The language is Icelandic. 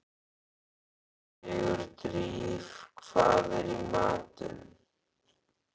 Sigurdríf, hvað er í matinn?